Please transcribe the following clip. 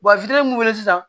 Wa fitinin mun be yen